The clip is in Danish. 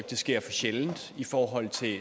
det sker for sjældent i forhold til